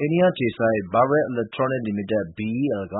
အိန္ဒိယအခြေစိုက် Bharat Electronics Limited (BEL) က